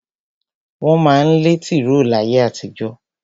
Wọ́n má ń lẹ́ tìró láyé àtijó.